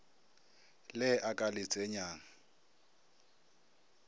le a ka le tsenyang